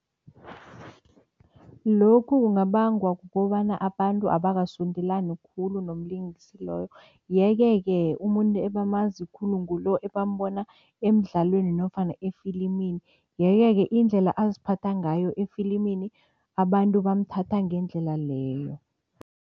Lokhu kungabangwa kukobana abantu abakasondelani khulu nomlingisi loyo yeke-ke umuntu ebamazi khulu ngulo ebambona emdlalweni nofana efilimini yeke-ke indlela aziphatha ngayo efilimini, abantu bamthatha ngendlela leyo.